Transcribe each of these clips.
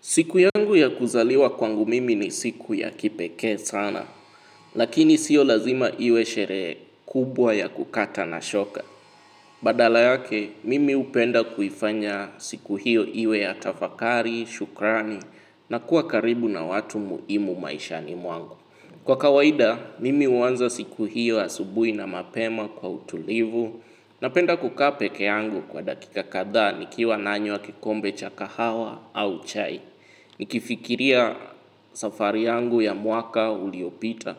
Siku yangu ya kuzaliwa kwangu mimi ni siku ya kipekee sana, lakini sio lazima iwe sherehe kubwa ya kukata na shoka. Badala yake, mimi hupenda kuifanya siku hiyo iwe ya tafakari, shukrani, na kuwa karibu na watu muhimu maishani mwangu. Kwa kawaida mimi huanza siku hio asubuhi na mapema kwa utulivu napenda kukaa pekee yangu kwa dakika kadhaa nikiwa nanywa kikombe cha kahawa au chai nikifikiria safari yangu ya mwaka uliopita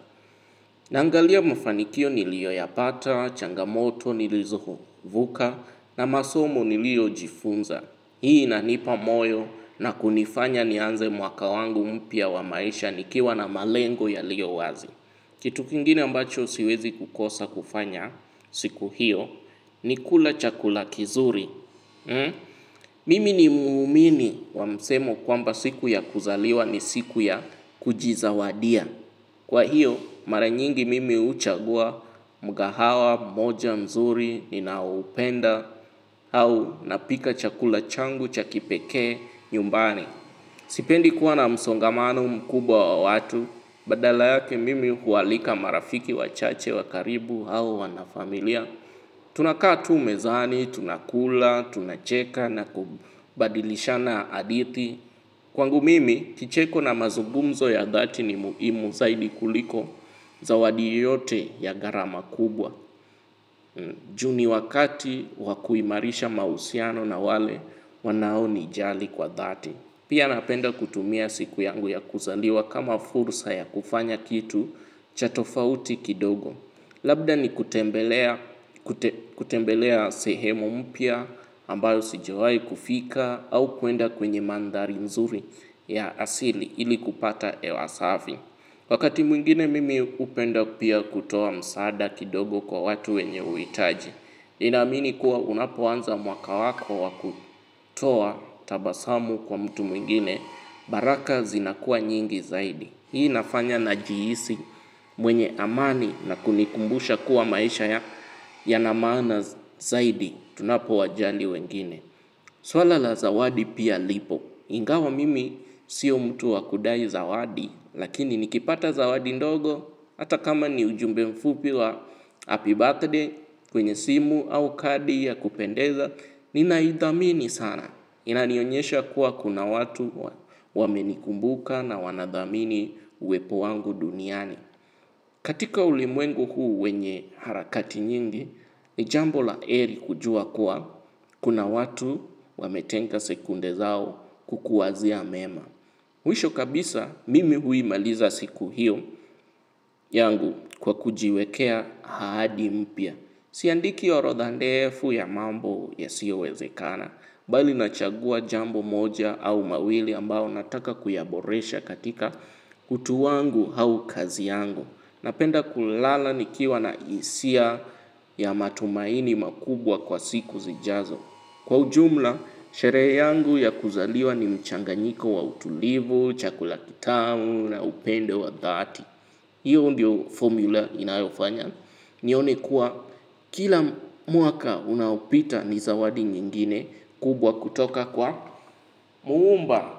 naangalia mafanikio nilioyapata, changamoto, nilizovuka na masomo niliojifunza hii inanipa moyo na kunifanya nianze mwaka wangu mpya wa maisha nikiwa na malengo yalio wazi kitu kingine ambacho siwezi kukosa kufanya siku hiyo ni kula chakula kizuri mimi ni muumini wa msemo kwamba siku ya kuzaliwa ni siku ya kujizawadia kwa hiyo mara nyingi mimi huchagua mgahawa moja mzuri ninaoupenda au napika chakula changu cha kipekee nyumbani sipendi kuwa na msongamano mkubwa wa watu badala yake mimi hualika marafiki wachache wa karibu au wanafamilia tunakaa tu mezani, tunakula, tunacheka na kubadilishana hadithi kwangu mimi, kicheko na mazugumzo ya dhati ni muhimu zaidi kuliko zawadi yoyote ya gharama kubwa juu ni wakati wa kuimarisha mahusiano na wale wanao nijali kwa dhati pia napenda kutumia siku yangu ya kuzaliwa kama fursa ya kufanya kitu cha tofauti kidogo labda ni kutembelea sehemu mpya ambayo sijawai kufika au kuenda kwenye mandhari nzuri ya asili ili kupata hewa safi. Wakati mwingine mimi hupenda pia kutoa msaada kidogo kwa watu wenye uhitaji ninaamini kuwa unapoanza mwaka wako wa kutoa tabasamu kwa mtu mwingine baraka zinakuwa nyingi zaidi. Hii inafanya najihisi mwenye amani na kunikumbusha kuwa maisha yana maana zaidi. Tunapowajali wengine. Swala la zawadi pia lipo. Ingawa mimi sio mtu wa kudai zawadi. Lakini nikipata zawadi ndogo. Hata kama ni ujumbe mfupi wa happy birthday, kwenye simu au kadi ya kupendeza. Ninaithamini sana. Inanionyesha kuwa kuna watu wamenikumbuka na wanathamini uwepo wangu duniani. Katika ulimwengu huu wenye harakati nyingi, ni jambo la heri kujua kuwa kuna watu wametenga sekunde zao kukuwazia mema. Mwisho kabisa mimi huimaliza siku hiyo yangu kwa kujiwekea ahadi mpya. Siandiki orodha ndefu ya mambo yasiyowezekana, bali nachagua jambo moja au mawili ambao nataka kuyaboresha katika utu wangu au kazi yangu. Napenda kulala nikiwa na hisia ya matumaini makubwa kwa siku zijazo. Kwa ujumla, sherehe yangu ya kuzaliwa ni mchanganyiko wa utulivu, chakula kitamu na upendo wa dhati. Hiyo ndio formula inayofanya, nione kuwa kila mwaka unaopita ni zawadi nyingine kubwa kutoka kwa muumba.